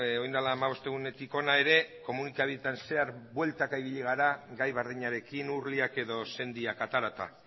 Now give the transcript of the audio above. orain dela hamabost egunetik hona ere komunikabideetan zehar bueltaka ibili gara gai berdinarekin urliak edo sendiak aterata